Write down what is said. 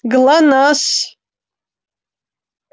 глонассс